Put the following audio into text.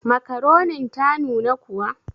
Makaronin ta nuna kuwa?